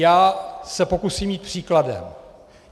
Já se pokusím jít příkladem.